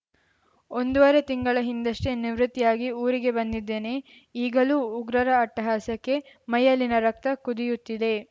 ಒಂದೂವರೆ ತಿಂಗಳ ಹಿಂದಷ್ಟೇ ನಿವೃತ್ತಿಯಾಗಿ ಊರಿಗೆ ಬಂದಿದ್ದೇನೆ ಈಗಲೂ ಉಗ್ರರ ಅಟ್ಟಹಾಸಕ್ಕೆ ಮೈಯಲ್ಲಿನ ರಕ್ತ ಕುದಿಯುತ್ತಿದೆ